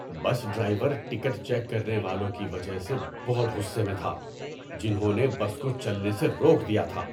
بس driver ticket check کرنے والوں کی وجہ سے بہت غصے میں تھا، جنہوں نے بس کو چلنے سے روک دیا تھا۔